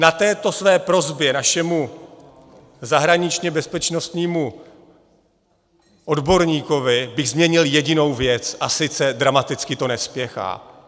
Na této své prosbě našemu zahraničně-bezpečnostnímu odborníkovi bych zmínil jedinou věc, a sice - dramaticky to nespěchá.